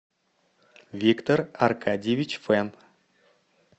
виктор аркадьевич фен